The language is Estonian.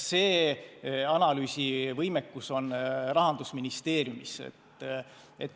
See analüüsivõimekus on Rahandusministeeriumis.